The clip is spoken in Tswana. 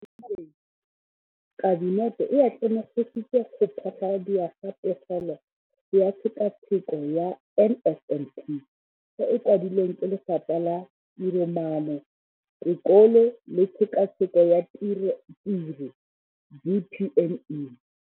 Mo malobeng Kabinete e atlenegisitse go phasaladiwa ga Pegelo ka Tshekatsheko ya NSNP e e kwadilweng ke Lefapha la Tiromaano, Tekolo le Tshekatsheko ya Tiro DPME.